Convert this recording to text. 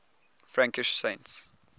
frankish saints